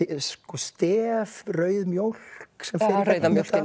stef rauð mjólk sem fer rauða mjólkin